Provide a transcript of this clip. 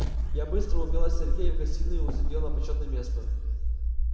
я быстро увела сергея в гостиную и усадила на почётное место